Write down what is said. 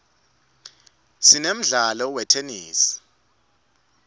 sinemdlalo wetenesi